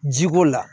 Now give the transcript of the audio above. Ji ko la